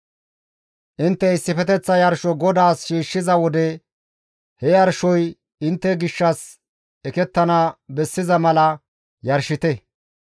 « ‹Intte issifeteththa yarsho GODAAS shiishshiza wode he yarshoy intte gishshas ekettana bessiza mala yarshite.